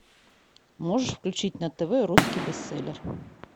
можешь включить на тв русский бестселлер